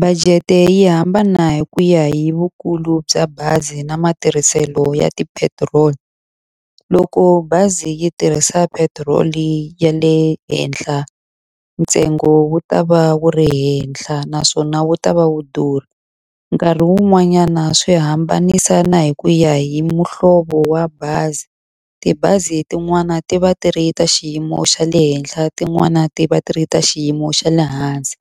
Budget-e yi hambana hi ku ya hi vukulu bya bazi na matirhiselo ya tipetiroli. Loko bazi yi tirhisa petiroli ya le henhla, ntsengo wu ta va wu ri henhla naswona wu ta va wu durha. Nkarhi wun'wanyana swi hambanisana hi ku ya hi muhlovo wa bazi. Tibazi tin'wani ti va ti ri ta xiyimo xa le henhla tin'wana ti va ti ri ta xiyimo xa le hansi.